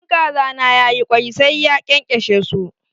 In kaza na ya yi kwai, sai ya kyankyashe su.